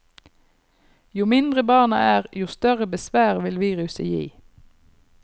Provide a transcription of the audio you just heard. Jo mindre barna er, jo større besvær vil viruset gi.